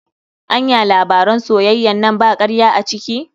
Anya labaran soyayyan nan ba karya a ciki?